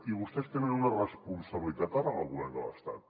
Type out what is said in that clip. i vostès tenen una responsabilitat ara en el govern de l’estat